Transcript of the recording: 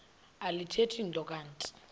alithethi nto kanti